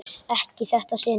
Ekki í þetta sinn.